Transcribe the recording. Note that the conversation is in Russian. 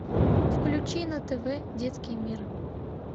включи на тв детский мир